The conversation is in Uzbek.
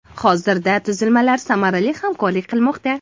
Hozirda tuzilmalarimiz samarali hamkorlik qilmoqda.